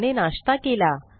त्याने नाश्ता केला